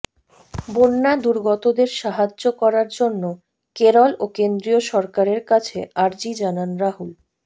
বন্যাদুর্গতদের সাহায্য করার জন্য কেরল ও কেন্দ্রীয় সরকারের কাছে আর্জি জানান রাহুল